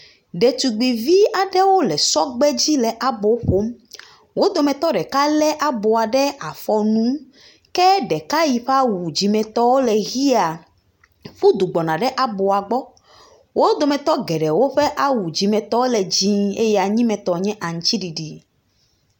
Ɖetugbuivi aɖewo le sɔgbe dzi le abo ƒom, wo dometɔ ɖeka lé aboa ɖe afɔ nu, ke ɖeka yi ƒe awu dzimetɔ le ʋea, ƒu du gbɔna aboa gbɔ, wo dometɔ geɖewo ƒe awu dzimetɔ le dzɛ̃ɛ̃eye anyimetɔ nye aŋutiɖiɖi.